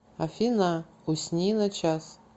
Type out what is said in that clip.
афина усни на час